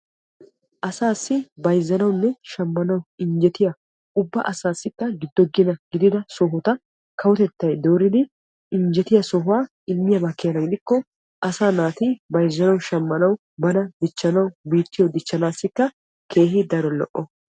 asassi bayzzanauwanne shammanw injjetiya ubba asassikka giddo gina gidiya sohota kawotettay dooridi injjettiya sohuwa immiyaaba keena gidikko asaa naati bayzzanaw shammanuw bana dichchanaw biittyio dichchanassikka keehi daro lo''o.